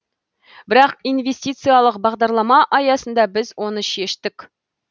бірақ инвестициялық бағдарлама аясында біз оны шештік